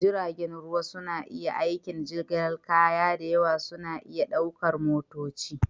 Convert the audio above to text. Jiragen ruwa suna aikin jigilar kaya da yawa suna iya ɗaukar motoci